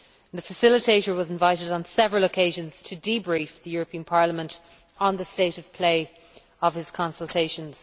The facilitator was invited on several occasions to debrief the European Parliament on the state of play of his consultations.